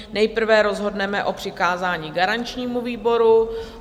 Nejprve rozhodneme o přikázání garančnímu výboru.